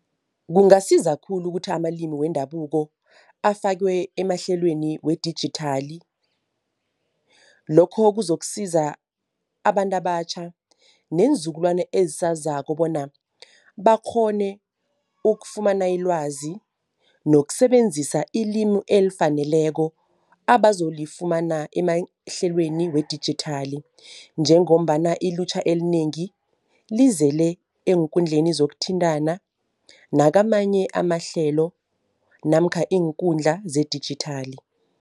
Kungasiza khulu ukuthi amalimi wendabuko afakwe emahlelweni wedijithali. Lokho kuzokusiza abantu abatjha neenzukulwana ezisazako bona bakghone ukufumana ilwazi nokusebenzisa ilimi elifaneleko abazolifumana emahlelweni wedijithali. Njengombana ilutjha elinengi lizele eenkundleni zokuthintana nakamanye amahlelo namkha iinkundla zedijithali.